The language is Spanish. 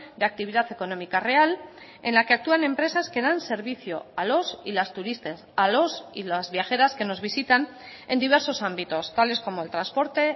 de actividad económica real en la que actúan empresas que dan servicio a los y las turistas a los y las viajeras que nos visitan en diversos ámbitos tales como el transporte